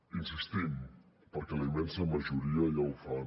hi insistim perquè la immensa majoria ja ho fan